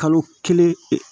Kalo kelen ee